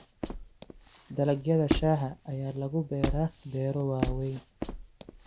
Dalagyada shaaha ayaa lagu beeraa beero waaweyn.